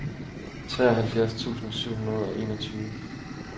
treoghalvfjerds tusind syv hundrede og enogtyve